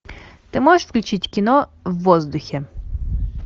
ты можешь включить кино в воздухе